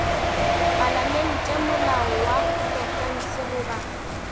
palamente molao wa profense goba